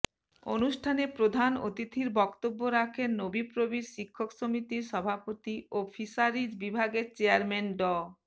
অনুষ্ঠানে প্রধান অতিথির বক্তব্য রাখেন নোবিপ্রবির শিক্ষক সমিতির সভাপতি ও ফিশারিজ বিভাগের চেয়ারম্যান ড